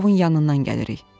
Yakovun yanından gəlirik.